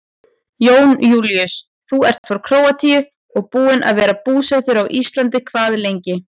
Jón Júlíus: Þú ert frá Króatíu en búinn að vera búsettur á Íslandi hvað lengi?